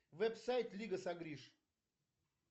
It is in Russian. веб сайт лига сагриш